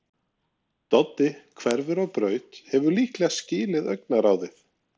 Doddi hverfur á braut, hefur líklega skilið augnaráðið.